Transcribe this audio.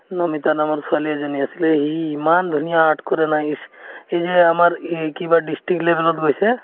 নমিতা নামৰ ছোৱালী এজনী আছিলে সি ইমান ধুনীয়া art কৰে নাই এই যে আমাৰ ই কিবা district level ত গৈছে